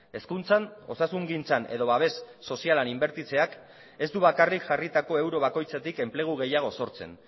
hezkuntzan osasungintzan edo babes sozialean inbertitzeak ez du bakarrik jarritako euro bakoitzetik enplegu gehiago sortzen